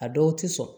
A dɔw ti sɔn